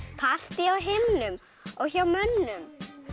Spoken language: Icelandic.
partí á himnum og hjá mönnum